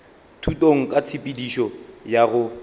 thutong ka tshepedišo ya go